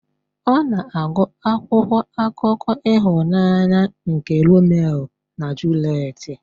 Ọ na-agụ akwụkwọ akụkọ ịhụnanya nke Romeo na Juliet.